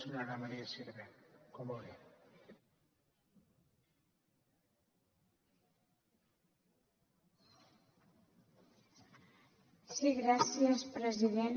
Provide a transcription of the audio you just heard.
sí gràcies president